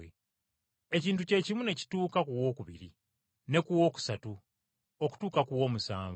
Ekintu kye kimu ne kituuka ku wookubiri ne ku wookusatu, okutuusa ku w’omusanvu.